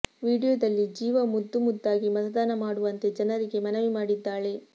ವಿಡಿಯೋದಲ್ಲಿ ಜೀವಾ ಮುದ್ದು ಮುದ್ದಾಗಿ ಮತದಾನ ಮಾಡುವಂತೆ ಜನರಿಗೆ ಮನವಿ ಮಾಡಿದ್ದಾಳೆ